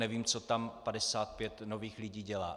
Nevím, co tam 55 nových lidí dělá.